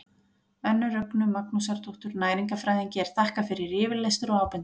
önnu rögnu magnúsardóttur næringarfræðingi er þakkaður yfirlestur og ábendingar